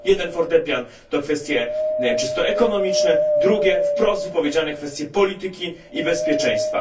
Jeden fortepian to kwestie czysto ekonomiczne, drugi wprost wypowiedziane kwestie polityki i bezpieczeństwa.